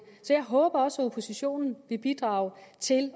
så jeg håber at også oppositionen vil bidrage til